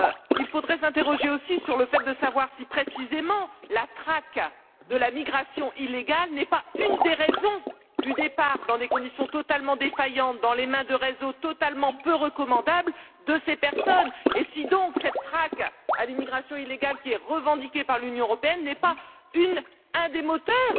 Il faudrait s'interroger aussi sur le fait de savoir si, précisément, la traque de la migration illégale n'est pas une des raisons du départ, dans des conditions totalement défaillantes, dans les mains de réseaux totalement peu recommandables de ces personnes et donc, si cette traque à l'immigration illégale, qui est revendiquée par l'Union européenne, n'est pas un des moteurs,